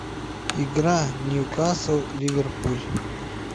игра ньюкасл ливерпуль